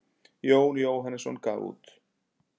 Jón Jóhannesson gaf út.